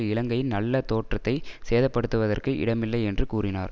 இலங்கையின் நல்ல தோற்றத்தை சேதப்படுத்துவதற்கு இடமில்லை என்று கூறினார்